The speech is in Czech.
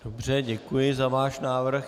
Dobře, děkuji za váš návrh.